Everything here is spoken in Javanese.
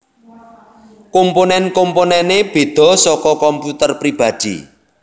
Komponen komponene bedha saka komputer pribadhi